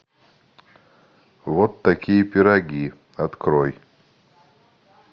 вот такие пироги открой